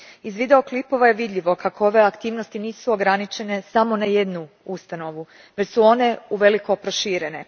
Iz video klipova je vidljivo kako ove aktivnosti nisu ograničene samo na jednu ustanovu, već su one uveliko proširene.